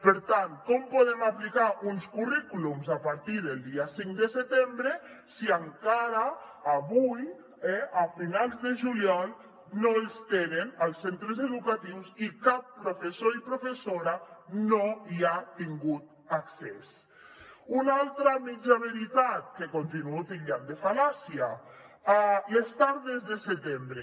per tant com podem aplicar uns currículums a partir del dia cinc de setembre si encara avui a finals de juny no els tenen als centres educatius i cap professor ni professora no hi ha tingut accés una altra mitja veritat que continuo titllant de fal·làcia les tardes de setembre